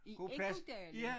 I Ekkodalen